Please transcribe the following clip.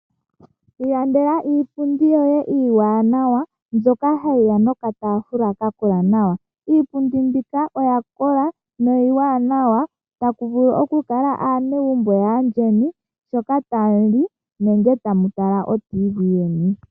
Iilandela iipundi yoye iiwaanawa mbyoka hayiya nokataafula kakola nawa. Iipundi mbika oya kola niiwanawa taku vulu oku kala aanegumbo yaayeni sho tamuli nenge tamutala oradio uomuzizimbe.